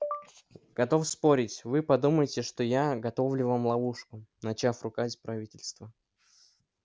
готов спорить вы подумаете что я готовлю вам ловушку начав ругать правительство